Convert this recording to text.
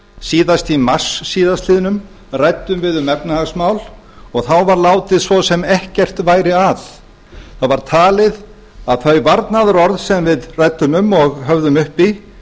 síðast í mars síðastliðinn ræddum við um efnahagsmál og þá var látið svo sem ekkert væri að það var talið að þau varnaðarorð sem við ræddum um og höfðum uppi